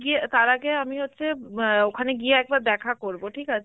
গিয়ে, তার আগে আমি হচ্ছে অ্যাঁ ওখানে গিয়ে একবার দেখা করব ঠিক আছে?